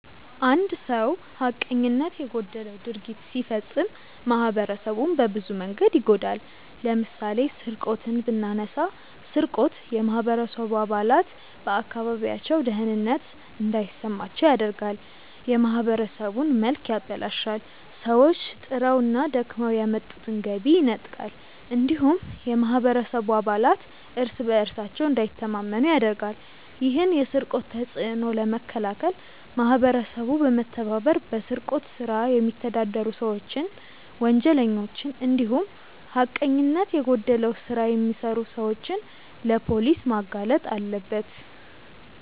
አንድ ሰው ሀቀኝነት የጎደለው ድርጊት ሲፈጽም ማህበረሰቡን በብዙ መንገድ ይጎዳል። ለምሳሌ ስርቆትን ብናነሳ ስርቆት የማህበረሰቡ አባላት በአካባቢያቸው ደህንነት እንዳይሰማቸው ያደርጋል፣ የማህበረሰቡን መልክ ያበላሻል፣ ሰዎች ጥረውና ደክመው ያመጡትን ገቢ ይነጥቃል እንዲሁም የማህበረሰቡ አባላት እርስ በእርሳቸው እንዳይተማመኑ ያደርጋል። ይህን የስርቆት ተጽዕኖ ለመከላከል ማህበረሰቡ በመተባበር በስርቆት ስራ የሚተዳደሩ ሰዎችን፣ ወንጀለኞችን እንዲሁም ሀቀኝነት የጎደለው ስራ የሚሰሩ ሰዎችን ለፖሊስ ማጋለጥ አለበት።